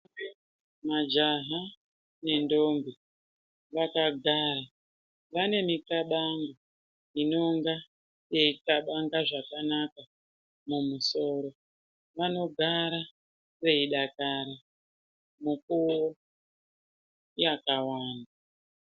Majaha nendombi vakagara vaneminxabango inonga yeinxabanga zvakanaka mumusoro ,vanogara veyidakara mukuwo yakawanda.